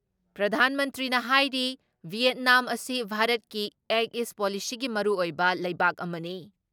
ꯄ꯭ꯔꯙꯥꯟ ꯃꯟꯇ꯭ꯔꯤꯅ ꯍꯥꯏꯔꯤ ꯚꯤꯌꯦꯠꯅꯥꯝ ꯑꯁꯤ ꯚꯥꯔꯠꯀꯤ ꯑꯦꯛ ꯏꯁ ꯄꯣꯂꯤꯁꯤꯒꯤ ꯃꯔꯨꯑꯣꯏꯕ ꯂꯩꯕꯥꯛ ꯑꯃꯅꯤ ꯫